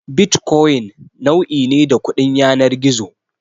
Bitcoin nau'i ne da kudin yanar gizo.